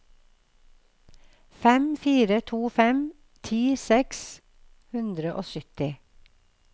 fem fire to fem ti seks hundre og sytti